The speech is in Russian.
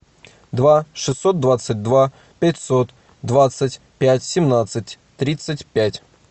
два шестьсот двадцать два пятьсот двадцать пять семнадцать тридцать пять